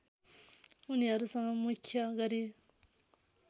उनीहरूसँग मुख्य गरी